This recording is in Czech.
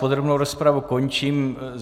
Podrobnou rozpravu končím.